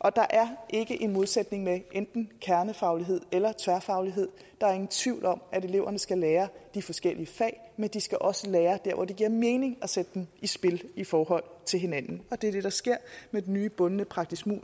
og der er ikke en modsætning mellem enten kernefaglighed eller tværfaglighed der er ingen tvivl om at eleverne skal lære de forskellige fag men de skal også lære der hvor det giver mening at sætte dem i spil i forhold til hinanden det er det der sker med den nye bundne praktiske